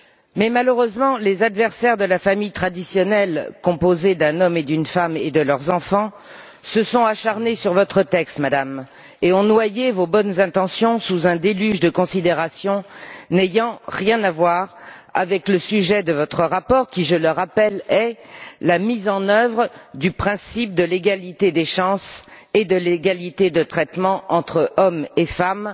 Mais, malheureusement, les adversaires de la famille traditionnelle composée d'un homme et d'une femme et de leurs enfants se sont acharnés sur votre texte, Madame, et ont noyé vos bonnes intentions sous un déluge de considérations n'ayant rien à voir avec le sujet de votre rapport, qui, je le rappelle, est la mise en œuvre du principe de l'égalité des chances et de l'égalité de traitement entre hommes et femmes